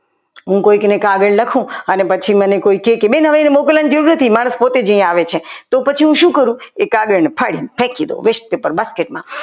હું કોઈકને કાગળ લખું અને પછી મને કહે કે બેન મને મોકલવાની જરૂર નથી મારે પોતે જ અહીંયા આવે છે તો હું વાંચીને શું કરું એ કાગળ ફાડીને ફેંકી દઉં west paper basket માં.